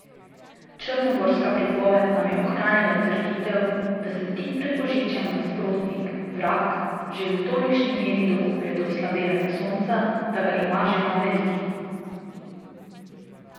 Črnogorska pripoved nam je ohranila trditev, da se tik pred božičem Nasprotnik, Vrag, že v tolikšni meri dokoplje do oslabelega Sonca, da ga ima že na verigi.